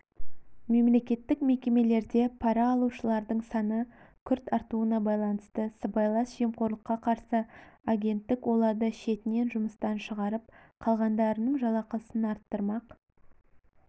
мемлекеттік мекемелерде пара алушылардың саны күрт артуына байланысты сыбайлас жемқорлыққа қарсы агенттік оларды шетінен жұмыстан шығарып қалғандарының жалақысын арттырмақ